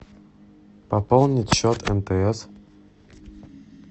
пополнить счет мтс